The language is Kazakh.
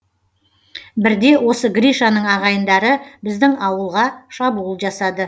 бірде осы гришаның ағайындары біздің ауылға шабуыл жасады